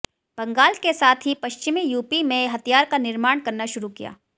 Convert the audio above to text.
बंगाल के साथ ही पश्चिमी यूपी में हथियार का निर्माण करना शुरु किया